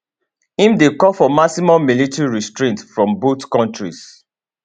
im dey call for maximum military restraint from both kontris